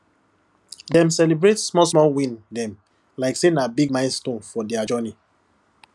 dem celebrate smallsmall win dem like say na big milestone for their journey